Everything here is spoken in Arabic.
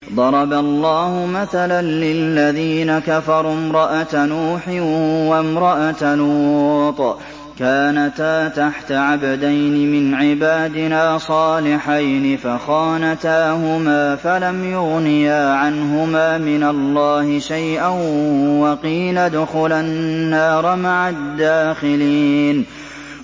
ضَرَبَ اللَّهُ مَثَلًا لِّلَّذِينَ كَفَرُوا امْرَأَتَ نُوحٍ وَامْرَأَتَ لُوطٍ ۖ كَانَتَا تَحْتَ عَبْدَيْنِ مِنْ عِبَادِنَا صَالِحَيْنِ فَخَانَتَاهُمَا فَلَمْ يُغْنِيَا عَنْهُمَا مِنَ اللَّهِ شَيْئًا وَقِيلَ ادْخُلَا النَّارَ مَعَ الدَّاخِلِينَ